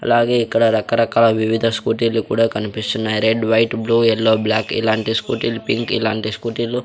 అలాగే ఇక్కడ రకరకాల వివిధ స్కూటీలు కూడా కన్పిస్తున్నాయి red white blue yellow black ఇలాంటి స్కూటీలు పింక్ ఇలాంటి స్కూటీలు --